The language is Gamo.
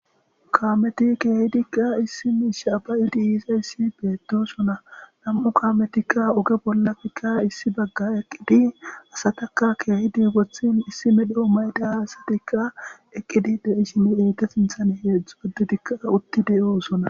Kaameti keehidikka issi miishshe yozayssi issi miishey afan de7izayssi beettoosona. nam7u kaametikka oge bollanka ossi bagga eqqidi asataka keehidi wothin issi medho mayida asatikka eqqidinne de7ishini enta sinthen uttidikka de7oosona.